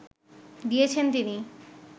দিয়েছেন তিনি